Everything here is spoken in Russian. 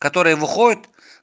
который выходит